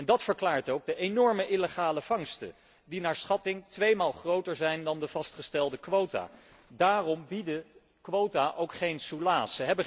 En dat verklaart ook de enorme illegale vangsten die naar schatting tweemaal groter zijn dan de vastgestelde quota. Daarom bieden quota ook geen soelaas.